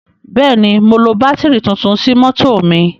Bẹ́ẹ̀ ni, mo lo bátìrì tuntun sí mọ́tọ̀ mi.